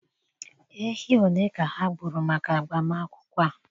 ehi ole ka ha gburu maka agbamakwụkwọ a?